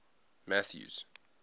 mathews